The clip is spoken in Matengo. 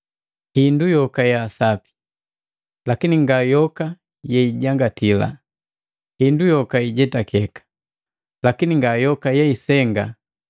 “Hindu yoka ya sapi,” Lakini nga yoka yeijangati. “Hindu yoka ijetakeka,” Lakini nga yoka yeisenga.